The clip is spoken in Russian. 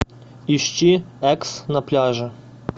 ищи экс на пляже